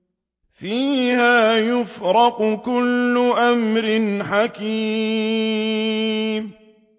فِيهَا يُفْرَقُ كُلُّ أَمْرٍ حَكِيمٍ